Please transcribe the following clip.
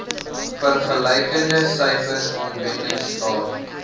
vergelykende syfers aanwendingstaat